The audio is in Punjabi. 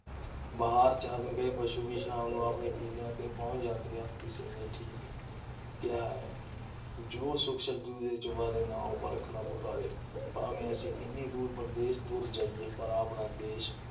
ਬਾਹਰ ਚਰਨ ਗਏ ਪਸ਼ੂ ਵੀ ਸ਼ਾਮ ਨੂੰ ਆਪਣੇ ਕਿੱਲਿਆਂ ਤੇ ਪਹੁੰਚ ਜਾਂਦੇ ਹਨ। ਕਿਸੇ ਨੇ ਠੀਕ ਹੀ ਤੇ ਕਿਹਾ ਹੈ- ਜੋ ਸੁੱਖ ਛੱਜੂ ਦੇ ਚੁਬਾਰੇ, ਨਾ ਉਹ ਬਲਖ ਨਾ ਬੁਖਾਰੇ। ਭਾਵੇਂ ਅਸੀਂ ਕਿੰਨੀ ਦੂਰ ਪਰਦੇਸ ਤੁਰ ਜਾਈਏ ਪਰ ਆਪਣਾ ਦੇਸ਼